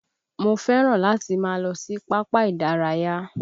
Mo fẹ́ràn láti máa lọ sí pápá ìdárayá